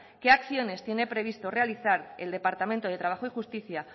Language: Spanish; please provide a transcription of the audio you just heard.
qué acciones tiene previsto realizar el departamento de trabajo y justicia